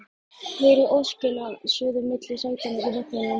Heyri óskina suða milli sætanna í vagninum